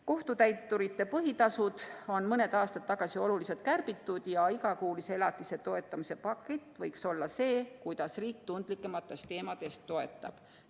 Kohtutäituri põhitasusid on mõned aastad tagasi oluliselt kärbitud ja igakuulise elatise toetamise pakett võiks olla see, kuidas riik tundlikumate teemade korral toetab.